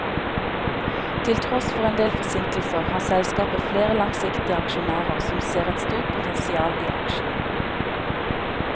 Til tross for endel forsinkelser, har selskapet flere langsiktige aksjonærer som ser et stort potensial i aksjen.